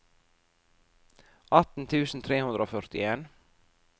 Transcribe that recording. atten tusen tre hundre og førtien